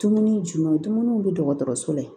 Dumuni jumɛn bɛ dɔgɔtɔrɔso la